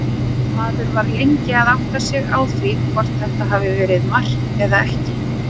Maður var lengi að átta sig á því hvort þetta hafi verið mark eða ekki.